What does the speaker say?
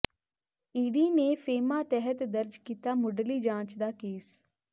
ED ਨੇ FEMA ਤਹਿਤ ਦਰਜ ਕੀਤਾ ਮੁੱਢਲੀ ਜਾਂਚ ਦਾ ਕੇਸ